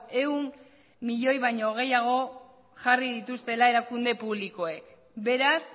ehun milioi baino gehiago jarri dituztela erakunde publikoek beraz